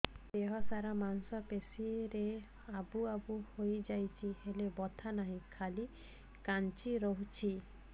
ଦେହ ସାରା ମାଂସ ପେଷି ରେ ଆବୁ ଆବୁ ହୋଇଯାଇଛି ହେଲେ ବଥା ନାହିଁ ଖାଲି କାଞ୍ଚି ରଖୁଛି